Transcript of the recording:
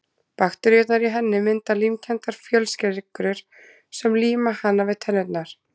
Bakteríurnar í henni mynda límkenndar fjölsykrur sem líma hana við tennurnar.